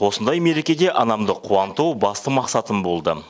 осындай мерекеде анамды қуанту басты мақсатым болды